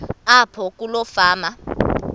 apho kuloo fama